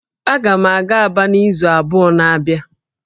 Aga m aga Aba n'izu abụọ na-abịa